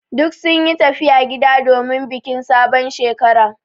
Duk sun yi tafiya gida domin bikin sabon Shekara.